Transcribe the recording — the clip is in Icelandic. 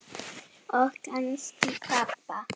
Og kannski pabba.